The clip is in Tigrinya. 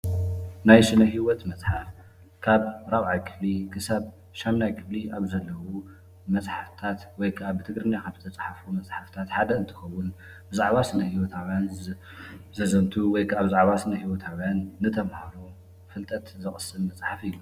ናይ ስነ-ሂወት መፅሓፍ ካብ ራብዓይ ክፍሊ ከሳብ 8ይ ክፍሊ ዘሎ መፅሓፍትታት ዝተፃሓፈ ወይ ከዓ ብ ትግርኛ ካብ ዝተፅሓፉ ሓደ እንትከውን ፤ ብዛዕባ ስነ-ሂወታውያን ዘዘትው ወይ ከዓ ብዛዕባ ስነ-ሂወታውያን ዝተምሃረ ፍልጠት ዘቅስም መፅሓፍ እዩ።